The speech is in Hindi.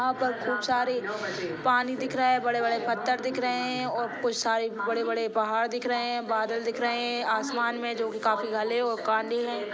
यहा पर खूब सारे पानी दिख रहे है बड़े बड़े पत्थर दिख रहे है और खूब सारे बड़े बड़े पहाड़ दिख रहे है बादल दिख रहे है आसमान में जो की काफी घने और काँदे है।